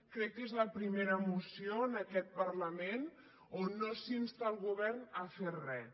crec que és la primera moció en aquest parlament on no s’insta el govern a fer res